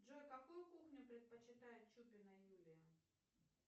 джой какую кухню предпочитает чупина юлия